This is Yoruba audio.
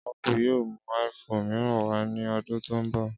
Ápù yóò mú iphone mìíràn wá ní ọdún tó ń bọ̀